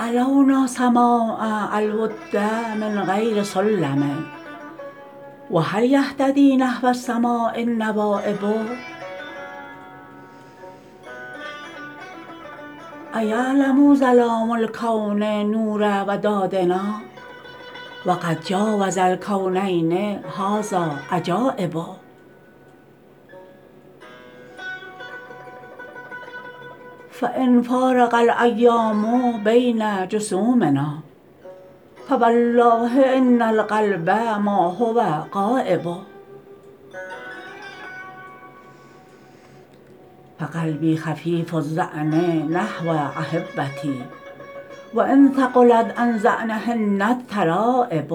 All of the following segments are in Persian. علونا سماء الود من غیر سلم و هل یهتدی نحو السماء النوایب ایعلرا ظلام الکون نور و دادنا و قد جاوز الکونین هذا عجایب فان فارق الایام بین جسومنا فوالله ان القلب ما هو غایب فقلبی خفیف الظعن نحو احبتی و ان ثقلت عن ظعنهن الترایب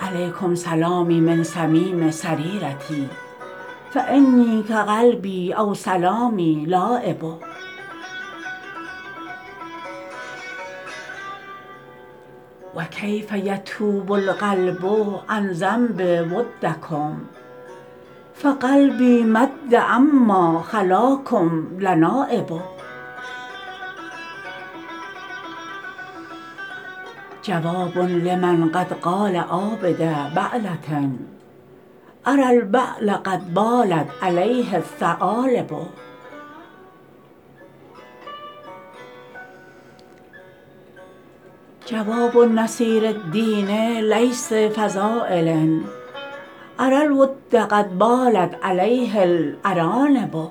علیکم سلامی من صمیم سریرتی فانی کقلبی او سلامی لایب و کیف یتوب القلب عن ذنب ودکم فقلبی مدا عما خلاکم لنایب حواب لمن قد قال عابد بعله اری البعل قد بالت علیه الثعالب جواب نصیرالدین لیث فضایل اری الود قد بالت علیه الارانب